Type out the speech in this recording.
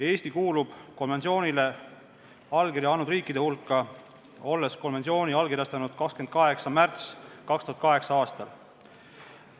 Eesti kuulub konventsioonile allkirja andnud riikide hulka, olles selle allkirjastanud 28. märtsil 2008. aastal.